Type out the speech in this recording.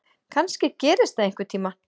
Kannski gerist það einhvern tíma.